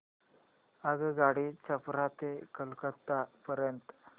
आगगाडी छपरा ते कोलकता पर्यंत